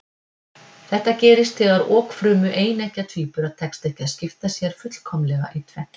Þetta gerist þegar okfrumu eineggja tvíbura tekst ekki að skipta sér fullkomlega í tvennt.